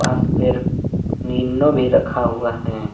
Nino भी रखा गया हैं।